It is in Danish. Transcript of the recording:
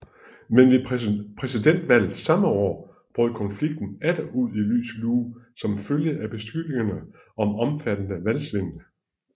Men ved præsidentvalget samme år brød konflikten atter ud i lys lue som følge af beskyldninger om omfattende valgsvindel